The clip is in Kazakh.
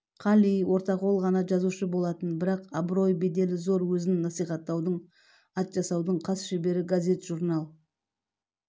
қали ортақол ғана жазушы болатын бірақ абырой-беделі зор өзін насихаттаудың ат жасаудың хас шебері газет-журнал